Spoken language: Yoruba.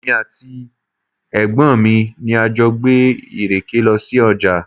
Èmi àti ẹ̀gbọ́n mi ni a jọ gbé ìrèké lọ sí ọjà.